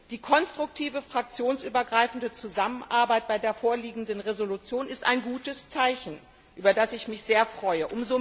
Die konstruktive, fraktionsübergreifende Zusammenarbeit bei der vorliegenden Entschließung ist ein gutes Zeichen, über das ich mich sehr freue.